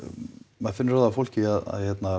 maður finnur það á fólki að